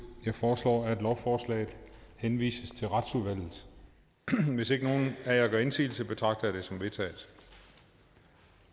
jeg foreslår at lovforslaget henvises til retsudvalget hvis ikke nogen af jer gør indsigelse betragter det som vedtaget